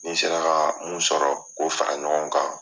Ni n sera ka mun sɔrɔ k'o fara ɲɔgɔn kan.